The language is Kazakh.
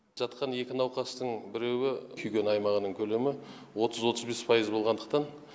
жатқан екі науқастың біреуі күйген аймағының көлемі отыз отыз бес пайыз болғандықтан